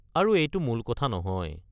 আৰু এইটো মূল কথা নহয়।